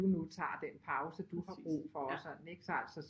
Du nu tager den pause du har brug for og sådan ikke så altså